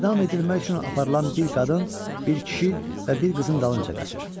edam edilmək üçün aparılan bir qadın, bir kişi və bir qızın dalınca qaçır.